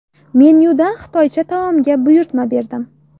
Menyudan xitoycha taomga buyurtma berdim.